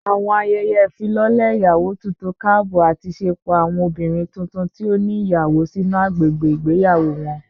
Awọn ayẹyẹ ifilọlẹ iyawo tuntun kaabọ ati ṣepọ awọn obinrin tuntun ti o ni iyawo sinu agbegbe igbeyawo wọn